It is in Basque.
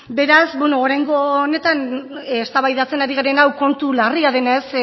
beraz oraingo honetan eztabaidatzen ari garen hau kontu larria denez